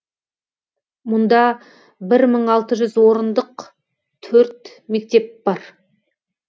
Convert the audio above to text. мұнда бір мың алты жүз орындық төрт мектеп бар